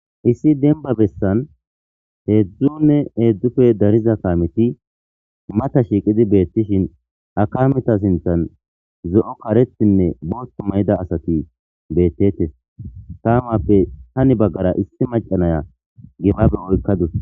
issi denba bessan heedzdzunne eeddufe dariza kaameti mata shiiqidi beettishin akaameta sinthan zo7o karetinne boothto may7ida asati beettetes tamappe hani baggara issi macanaya gibabe oykkadus